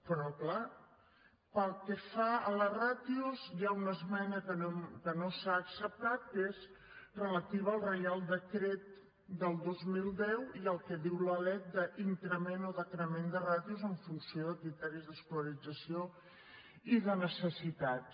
però clar pel que fa a les ràtios hi ha una esmena que no s’ha acceptat que és relativa al reial decret del dos mil deu i al que diu la lec d’increment o decrement de ràtios en funció de criteris d’escolarització i de necessitats